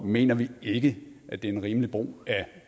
mener vi ikke at det er en rimelig brug af